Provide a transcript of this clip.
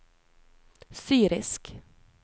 syrisk